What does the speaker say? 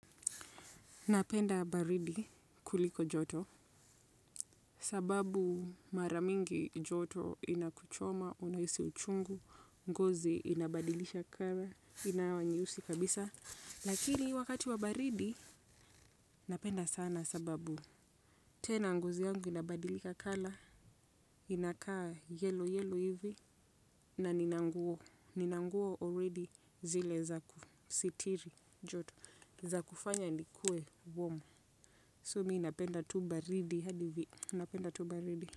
Napenda baridi kuliko joto, sababu mara nyingi joto inakuchoma unahisi uchungu, ngozi inabadilisha color inakuwa nyeusi kabisa. Lakini wakati wa baridi, napenda sana sababu. Tena ngozi yangu inabadilika color, inakaa yellow yellow hivi, na ninanguo, ninanguo already zile za kusitiri joto, za kufanya niwe warm. So mimi napenda tubaridi hadi, napenda tu baridi.